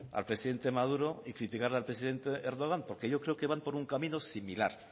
al presidente maduro y criticarle al presidente erdogan porque yo creo que van por un camino similar